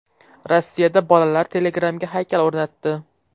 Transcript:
Rossiyada bolalar Telegram’ga haykal o‘rnatdi.